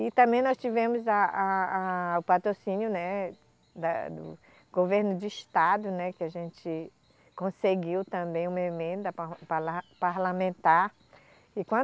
E também nós tivemos a, a, a, o patrocínio, né da, do governo do estado, né, que a gente conseguiu também uma emenda par, palar, parlamentar. E quando